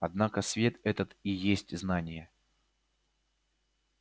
однако свет этот и есть знание